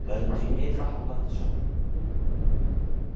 Við verðum því miður að hafa þetta svona.